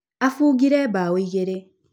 Aabungire mbaũ igĩrĩ.